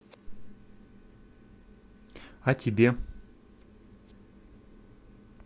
о тебе